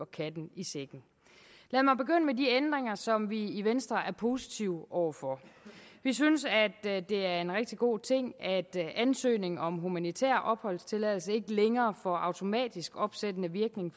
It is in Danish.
katten i sækken lad mig begynde med de ændringer som vi i venstre er positive over for vi synes at det er en rigtig god ting at ansøgning om humanitær opholdstilladelse ikke længere får automatisk opsættende virkning